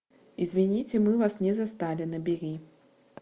извините мы вас не застали набери